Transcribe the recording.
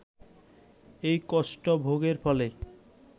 এই কষ্ট ভোগের ফলে